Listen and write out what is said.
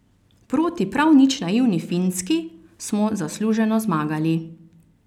Proti prav nič naivni Finski smo zasluženo zmagali.